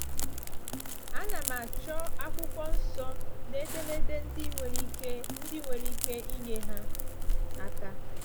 Ana m achọ Akwụkwọ Nsọ na edemede ndị nwere ike ndị nwere ike inye ha aka.”